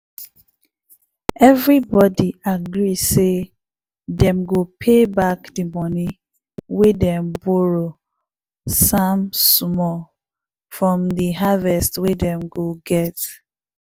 everybody agree say dem go pay back de money wey dem borrow samm small from the haverst wey dem go get.